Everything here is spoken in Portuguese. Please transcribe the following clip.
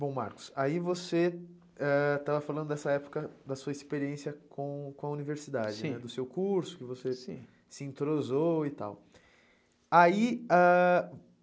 Bom, Marcos, aí você ãh estava falando dessa época da sua experiência com com a universidade, né, sim, do seu curso, sim, que você se entrosou e tal. Aí ãh...